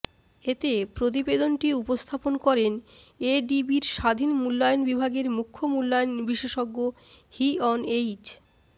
এতে প্রতিবেদনটি উপস্থাপন করেন এডিবির স্বাধীন মূল্যায়ন বিভাগের মূখ্য মূল্যায়ন বিশেষজ্ঞ হিঅন এইচ